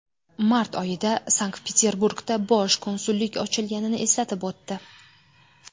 Mart oyida Sankt-Peterburgda bosh konsullik ochilganini eslatib o‘tdi.